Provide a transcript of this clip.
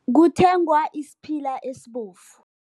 Kuthengwa isiphila esibovu.